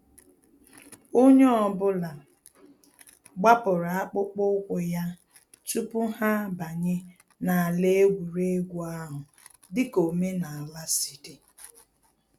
Onye ọ bụla gbapụrụ akpụkpọ ụkwụ ya tupu ha abanye n’ala egwuregwu ahụ, dịka omenala si di